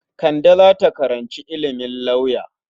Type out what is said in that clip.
Kande za ta karanci ilimin lauya.